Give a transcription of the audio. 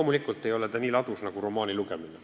Muidugi ei ole see nii ladus nagu romaan.